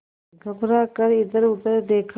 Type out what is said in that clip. घबरा कर इधरउधर देखा